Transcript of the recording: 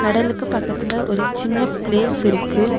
கடலுக்கு பக்கத்துல ஒரு சின்ன பிளேஸ்ஸுருக்கு .